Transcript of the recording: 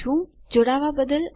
જોડાવા બદ્દલ આભાર